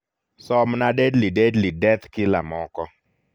somna deadly deadly death killer moko